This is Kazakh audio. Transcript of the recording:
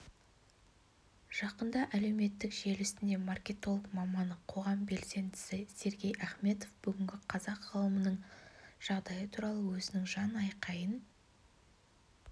жақында әлеуметтік желісінде маркетолог маманы қоғам белсендісі сергей ахметов бүгінгі қазақ ғылымының жағдайы туралы өзінің жан-айқайын